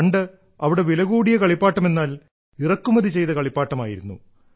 പണ്ട് അവിടെ വിലകൂടിയ കളിപ്പാട്ടമെന്നാൽ ഇറക്കുമതി ചെയ്ത കളിപ്പാട്ടമായിരുന്നു